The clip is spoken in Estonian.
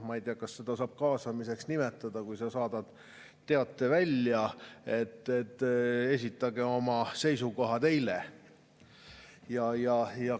Ma ei tea, kas seda saab kaasamiseks nimetada, kui sa saadad teate välja, et esitage oma seisukohad eile.